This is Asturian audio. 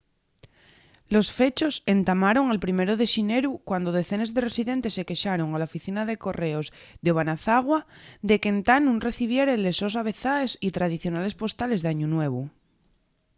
los fechos entamaron el 1 de xineru cuando decenes de residentes se quexaron a la oficina de correos d'obanazawa de qu'entá nun recibieren les sos avezaes y tradicionales postales d'añu nuevu